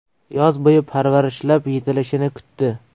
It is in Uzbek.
Yoz bo‘yi parvarishlab, yetilishini kutdi.